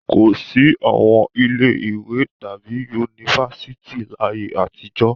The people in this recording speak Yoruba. Kò sí àwọn ilé-ìwé tàbí yunifásitì láyé àtijọ́.